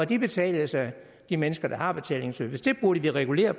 de betales af de mennesker der har betalingsservice det burde vi regulere